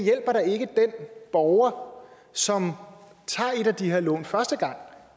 borger som tager et af de her lån første gang